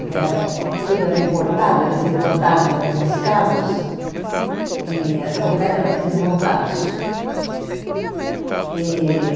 Porque era, eh tudo era importado, eles importavam o os carros e completamente desmontados. E